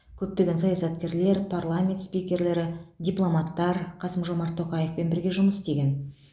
көптеген саясаткерлер парламент спикерлері дипломаттар қасым жомарт тоқаевпен бірге жұмыс істеген